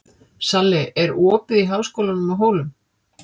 Salli, er opið í Háskólanum á Hólum?